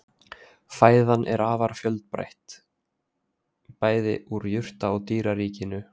Fæðan er afar fjölbreytt, bæði úr jurta- og dýraríkinu.